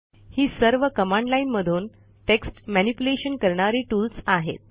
ही सर्व command line मधून text manipulation करणारी टूल्स आहेत